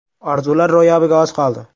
Orzular ro‘yobiga oz qoldi!